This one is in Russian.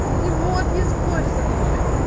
ну вот не спорь со мной